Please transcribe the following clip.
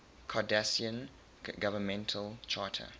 cardassian governmental charter